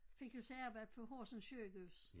Fik jo så arbejde på Horsens sygehus